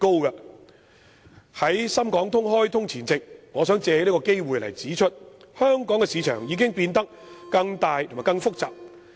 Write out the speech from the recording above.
在深港通開通前夕，我想借此機會指出，香港市場已經變得更大及更複雜。